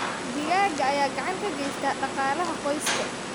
Digaagga ayaa gacan ka geysta dhaqaalaha qoyska.